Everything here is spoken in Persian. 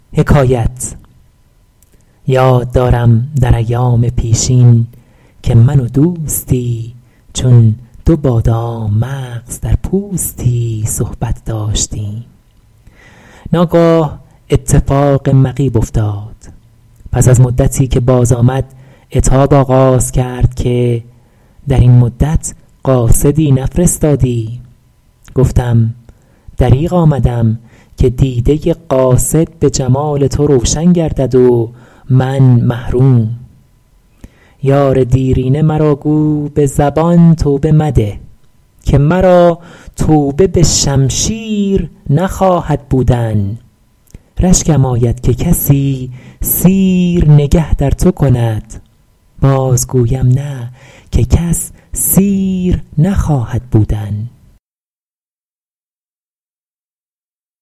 یاد دارم در ایام پیشین که من و دوستی چون دو بادام مغز در پوستی صحبت داشتیم ناگاه اتفاق مغیب افتاد پس از مدتی که باز آمد عتاب آغاز کرد که در این مدت قاصدی نفرستادی گفتم دریغ آمدم که دیده قاصد به جمال تو روشن گردد و من محروم یار دیرینه مرا گو به زبان توبه مده که مرا توبه به شمشیر نخواهد بودن رشکم آید که کسی سیر نگه در تو کند باز گویم نه که کس سیر نخواهد بودن